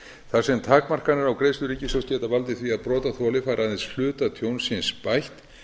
þar sem takmarkanir á greiðslu ríkissjóðs geta valdið því að brotaþoli fær aðeins hluta tjóns síns bætt